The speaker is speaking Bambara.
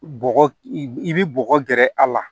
Bɔgɔ i bi bɔgɔ gɛrɛ a la